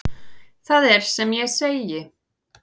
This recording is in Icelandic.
Það er sem ég segi.